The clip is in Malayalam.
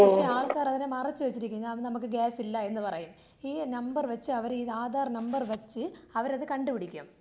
പക്ഷേ ആൾക്കാര് അതിനെ മറച്ചു വെച്ചിരിക്കുന്നു. നമുക്ക് ഗ്യാസ് ഇല്ല എന്ന് പറയും. ഈ നമ്പർ വെച്ച് അവര് ഈ ആധാർ നമ്പർ വെച്ച് അവരത് കണ്ടുപിടിക്കും.